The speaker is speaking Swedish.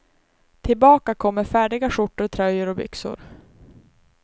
Tillbaka kommer färdiga skjortor, tröjor och byxor.